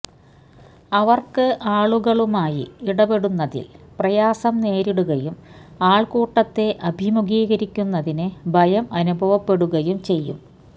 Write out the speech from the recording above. അവര്ക്ക് ആളുകളുമായി ഇടപെടുന്നതില് പ്രയാസം നേരിടുകയും ആള്ക്കൂട്ടത്തെ അഭിമുഖീകരിക്കുന്നതിന് ഭയം അനുഭവപ്പെടുകയും ചെയ്യും